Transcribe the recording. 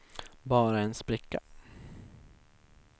bara en spricka